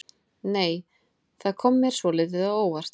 Nei! Það kom mér svolítið á óvart!